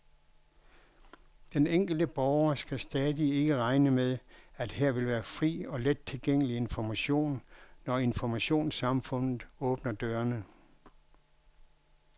Den enkelte borger skal stadig ikke regne med, at her vil være fri og let tilgængelig information, når informationssamfundet åbner dørene.